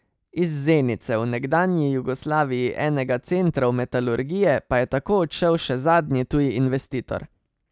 Iz Zenice, v nekdanji Jugoslaviji enega centrov metalurgije, pa je tako odšel še zadnji tuj investitor.